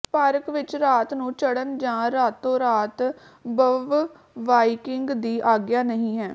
park ਵਿਚ ਰਾਤ ਨੂੰ ਚੜ੍ਹਨ ਜਾਂ ਰਾਤੋ ਰਾਤ ਬਵਵਾਇਕਿੰਗ ਦੀ ਆਗਿਆ ਨਹੀਂ ਹੈ